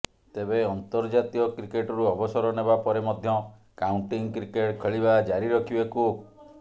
ତେବେ ଅର୍ନ୍ତଜାତୀୟ କ୍ରିକେଟରୁ ଅବସର ନେବା ପରେ ମଧ୍ୟ କାଉଣ୍ଟିଂ କ୍ରିକେଟ ଖେଳିବା ଜାରି ରଖିବେ କୁକ୍